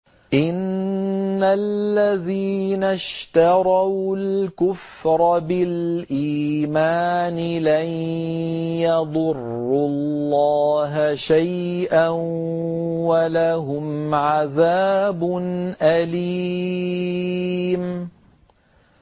إِنَّ الَّذِينَ اشْتَرَوُا الْكُفْرَ بِالْإِيمَانِ لَن يَضُرُّوا اللَّهَ شَيْئًا وَلَهُمْ عَذَابٌ أَلِيمٌ